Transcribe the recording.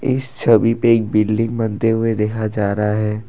इस छवि पे एक बिल्डिंग बनते हुए देखा जा रहा है।